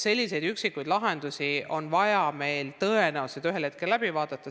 Sellised üksikud lahendused on vaja meil tõenäoliselt ühel hetkel läbi vaadata.